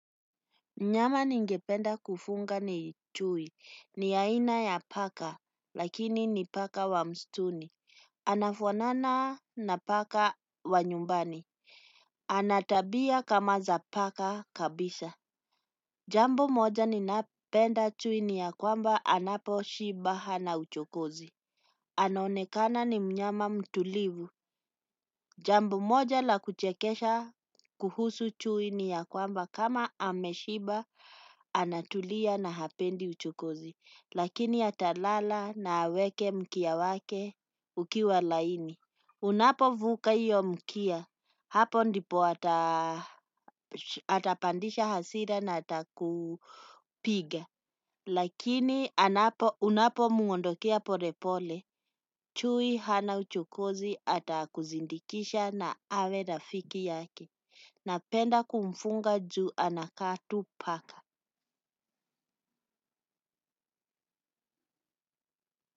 Mnyama ningependa kufunga ni chui. Ni aina ya paka lakini ni paka wa mstuni. Anafuanana na paka wa nyumbani. Anatabia kama za paka kabisa. Jambo moja ninapenda chui ni ya kwamba anapo shiba hana uchokozi. Anaonekana ni mnyama mtulivu. Jambo moja la kuchekesha kuhusu chui ni ya kwamba kama ameshiba anatulia na hapendi uchokozi. Lakini atalala na aweke mkia wake ukiwa laini. Unapovuka iyo mkia. Hapo ndipo atapandisha hasira na atakupiga. Lakini unapo mwondokea pole pole, chui hana uchokozi ata kuzindikisha na awe rafiki yake. Napenda kumfunga juu anakaa tu paka.